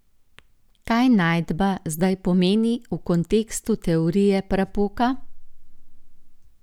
Kaj najdba zdaj pomeni v kontekstu teorije prapoka?